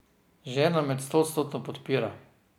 Žena me stoodstotno podpira.